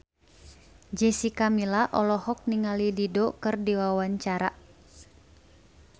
Jessica Milla olohok ningali Dido keur diwawancara